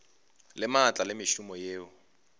le maatla le mešomo yeo